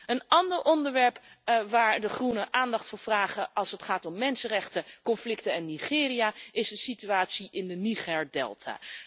Een ander onderwerp waar de Groenen aandacht voor vragen als het gaat om mensenrechten, conflicten en Nigeria, is de situatie in de Nigerdelta.